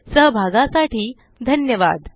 सहभागासाठी धन्यवाद